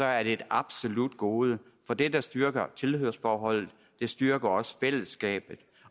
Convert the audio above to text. er det et absolut gode for det der styrker tilhørsforholdet styrker også fællesskabet